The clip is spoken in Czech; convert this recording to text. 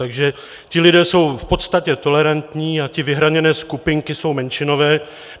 Takže ti lidé jsou v podstatě tolerantní a ty vyhraněné skupinky jsou menšinové.